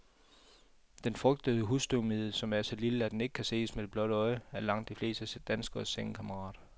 Den frygtede husstøvmide, som er så lille, at den ikke kan ses med det blotte øje, er langt de fleste danskeres sengekammerat.